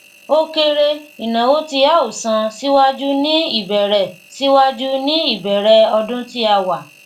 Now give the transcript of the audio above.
o kere ináwó tí a o san síwájú ní ìbẹrẹ síwájú ní ìbẹrẹ ọdún tí a wà